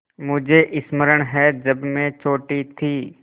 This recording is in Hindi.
मुझे स्मरण है जब मैं छोटी थी